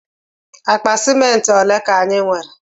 Akpa ciment ọle ka anyi nwere?